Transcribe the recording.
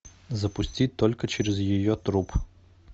запусти только через ее труп